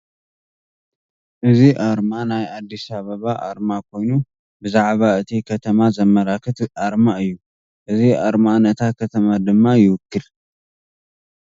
እዚ ኣርማ ናይ ኣዲስ ኣበባ ኣርማ ኮይኑ ብዛዕባ እቲ ከተማ ዘማላክት ኣርማ እዩ። እዚ ኣርማ ነታ ከተማ ድማ ይውክል ።